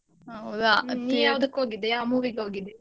ಹೌದಾ. ನೀ ಯಾವ್ದಕ್ movie ಗ್ ಹೋಗಿದ್ದೆ.